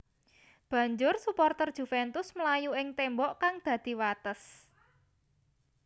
Banjur suporter Juventus mlayu ing témbok kang dadi wates